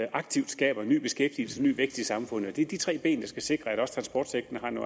aktivt skabes ny beskæftigelse og ny vækst i samfundet det er de tre ben der skal sikre at også transportsektoren